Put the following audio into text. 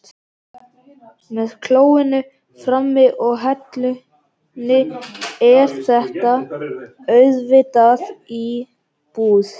Með klóinu frammi og hellunni er þetta auðvitað íbúð.